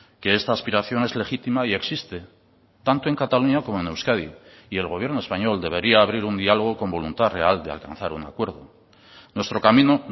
que esta aspiración es legítima y existe tanto en cataluña como en euskadi y el gobierno español debería abrir un diálogo con voluntad real de alcanzar un acuerdo nuestro camino